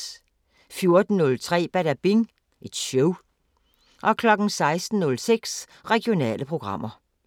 14:03: Badabing Show 16:06: Regionale programmer